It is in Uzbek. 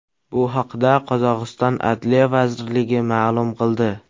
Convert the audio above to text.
Bu haqda Qozog‘iston adliya vazirligi ma’lum qildi .